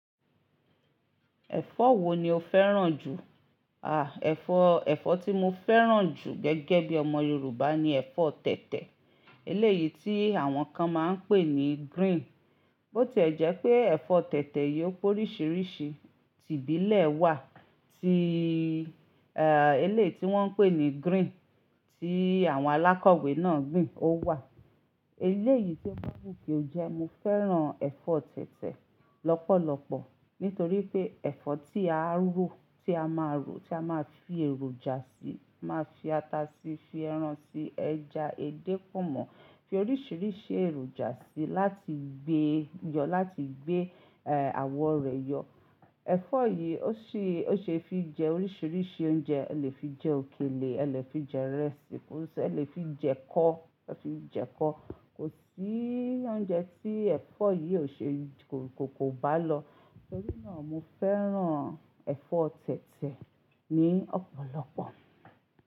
Ẹ̀fọ́ wo ni o fẹ́ràn jù? Ẹ̀fọ́ tí mo fẹ́ràn jù gẹ́gẹ́ bí ọmọ Yorùbá ni ẹ̀fọ́ tètè. Eléyìí tí àwọn kan máa ń pè ní green. Bó ti ẹ̀ jẹ́ pé ẹ̀fọ́ tètè yìí ó pé oríṣiríṣi, ti ìbílẹ̀ wà, eléyìí tí wọ́n ń pè ní green tí àwọn alákọ̀wé náà gbìn ó wà. Eléyìí tío ba wu kio jẹ́ mo fẹ́ràn ẹ̀fọ́ tètè lọ́pọ̀lọpọ̀ nítorí pé ẹ̀fọ́ tí a rọ, tí a máa rọ, tí a máa fi èròjà sí, máa fi ata sí, fi ẹran sí, ẹja, edé, pòmọ́, fi oríṣiríṣi èròjà sí láti gbé yọ, láti gbé, àwọ̀ rẹ̀ yọ. Ẹ̀fọ́ yìí ó ṣe, ó ṣe é fi jẹ oríṣiríṣi oúnjẹ. O lè fi jẹ òkèlè, a lè fi jẹ ìrẹsì, o lè fi jẹ ẹkọ, o lè fi jẹ ẹkọ. Kò sí oúnjẹ tí ẹ̀fọ́ yìí ò ṣe kò bá lọ. Nítorí náà mo fẹ́ràn ẹ̀fọ́ tètè ní ọ̀pọ̀lọpọ̀